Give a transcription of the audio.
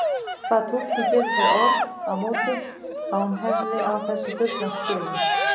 Bað túlkinn fyrir þau orð á móti að hún hefði á þessu fullan skilning.